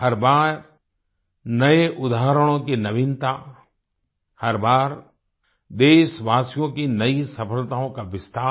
हर बार नए उदाहरणों की नवीनता हर बार देशवासियों की नई सफलताओं का विस्तार